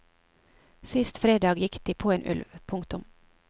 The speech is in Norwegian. Sist fredag gikk de på en ulv. punktum